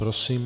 Prosím.